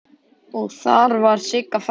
Og þar var Sigga frænka.